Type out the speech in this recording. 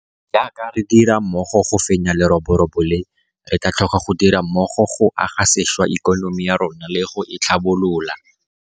Jaaka re dira mmogo go fenya leroborobo le, re tla tlhoka go dira mmogo go aga sešwa ikonomi ya rona le go e tlhabolola.